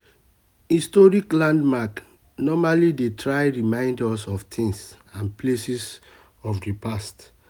historic landmark normally dey try remimd us of things and places of di past